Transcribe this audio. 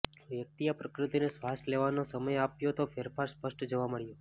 વ્યક્તિએ પ્રકૃતિને શ્વાસ લેવાનો સમય આપ્યો તો ફેરફાર સ્પષ્ટ જોવા મળ્યો